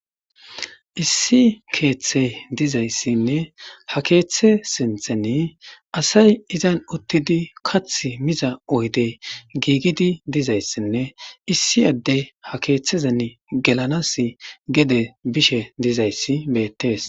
Issi keeththe dizayssanne ha keeththe sinththen assay uttidi kaththi mizza oydde gigidi dizayssanne issi adde ha keeththe gelanassi gedde bizayssi bethess.